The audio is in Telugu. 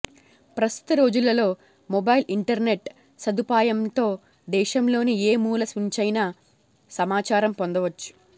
ప్రస్తుత రోజులలో మొబైల్ ఇంటర్నెట్ సదుపాయంతో దేశంలోని ఏ మూల నుంచైనా సమాచారం పొందవచ్చు